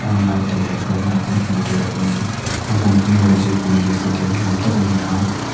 lai te leh kal lai te hmuh tur an awm ani a hmun hi rajiv gandhi stadium ni awm tak ani a--